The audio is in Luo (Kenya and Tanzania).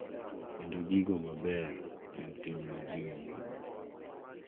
Kendo giko maber en tim ma ji oyiego,